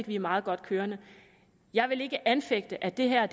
vi er meget godt kørende jeg vil ikke anfægte at det her